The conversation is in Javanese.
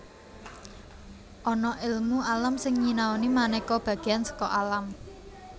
Ana èlmu alam sing nyinaoni manéka bagéan saka alam